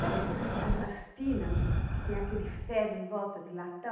Sabe esses essas tina que tem aqueles ferro em volta de latão?